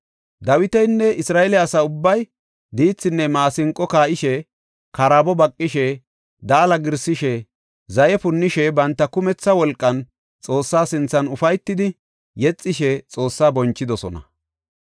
Dawitinne Isra7eele asa ubbay diithinne maasinqo kaa7ishe, karaabo baqishe, daala giirsishe, zaye punnishe banta kumetha wolqan Xoossa sinthan ufaytidi, yexishe Xoossaa bonchidosona.